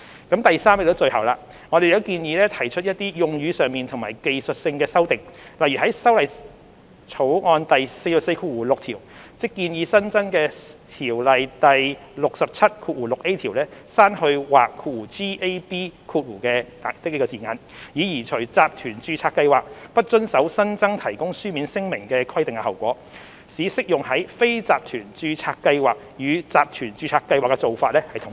第三方面，即最後，我們亦建議提出一些用語上和技術性的修訂，例如在《條例草案》第446條，即建議新增的《條例》第67條，刪去"或"的字眼，以刪除集團註冊計劃不遵守有關提供書面聲明的新增規定的後果，使適用於非集團註冊計劃與集團註冊計劃的做法統一。